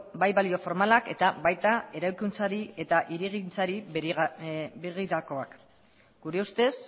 bai balio formalak eta baita eraikuntzari eta hirigintzari begirakoak gure ustez